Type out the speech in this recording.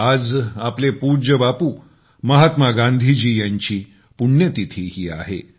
आज आपले पूज्य बापू महात्मा गांधीजी यांची पुण्यतिथी ही आहे